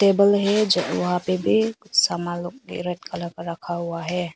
Table है वहां पे भी सामान लोग रेड कलर का रखा हुआ है।